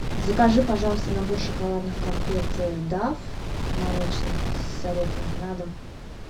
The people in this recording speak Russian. закажи пожалуйста набор шоколадных конфет дав молочные с орехами на дом